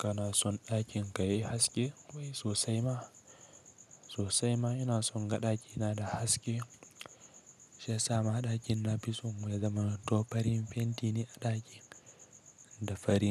Kana son ɗakin ka yayi haske wai sosai ma? Sosai ma ina son ga ɗakina da haske. Shi ya sama a ɗakin na fi son ya zamanto fari. Fenti ne a ɗakin da fari